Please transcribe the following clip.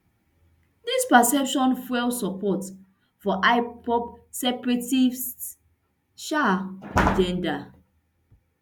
dis perception fuel support for ipob separatist agenda